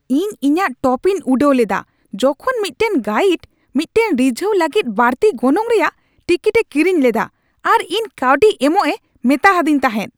ᱤᱧ ᱤᱧᱟᱹᱜ ᱴᱚᱯᱤᱧ ᱩᱰᱟᱹᱣ ᱞᱮᱫᱟ ᱡᱚᱠᱷᱚᱱ ᱢᱤᱫᱴᱟᱝ ᱜᱟᱭᱤᱰ ᱢᱤᱫᱴᱟᱝ ᱨᱤᱡᱷᱟᱹᱣ ᱞᱟᱹᱜᱤᱫ ᱵᱟᱹᱲᱛᱤ ᱜᱚᱱᱚᱝ ᱨᱮᱭᱟᱜ ᱴᱤᱠᱤᱴᱮ ᱠᱤᱨᱤᱧ ᱞᱮᱫᱟ ᱟᱨ ᱤᱧ ᱠᱟᱹᱣᱰᱤ ᱮᱢᱚᱜᱼᱮ ᱢᱮᱛᱟᱫᱮᱧ ᱛᱟᱦᱮᱸᱫ ᱾